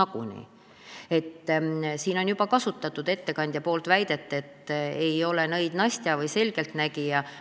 Siin ettekandja juba kasutas väidet, et ta ei ole nõid Nastja ega selgeltnägija.